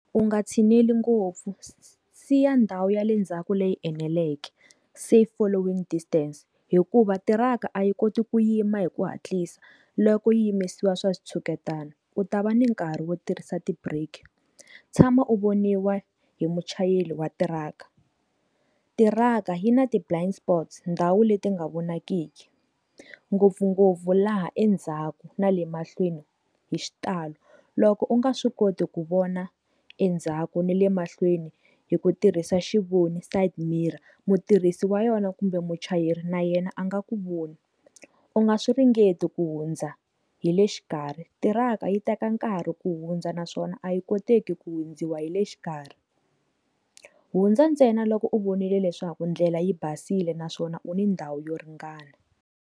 U nga tshineli ngopfu siya ndhawu ya le ndzhaku leyi eneleke safe following distance hikuva tirhaka a yi koti ku yima hi ku hatlisa loko yi yimisiwa swa chuketana u ta va ni nkarhi wo tirhisa ti brake tshama u voniwa hi muchayeri wa tirhaka tirhaka yi na ti blinds spots ndhawu leti nga vonaki nyiki ngopfungopfu laha endzhaku na le mahlweni hi xitalo loko u nga swi koti ku vona endzhaku ni le mahlweni hi ku tirhisa xivoni side mirror mutirhisi wa yona kumbe muchayeri na yena a nga ku voni u nga swi ringeta ku hundza hi le xikarhi tirhaka yi teka nkarhi ku hundza naswona a yi koteki ku hundziwa hi le xikarhi hundza ntsena loko u vonile leswaku ndlela yi basile naswona u ni ndhawu yo ringana.